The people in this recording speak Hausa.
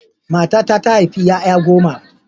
Matata ta haifi ƴaƴa goma.